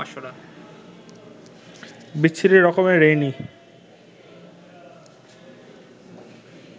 বিচ্ছিরি রকমের রেইনি